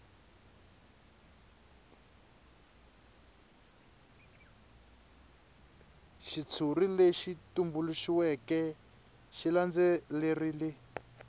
xitshuri lexi tumbuluxiweke xi landzelerile